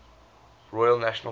royale national park